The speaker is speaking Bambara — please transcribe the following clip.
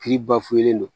Kiri bafulen do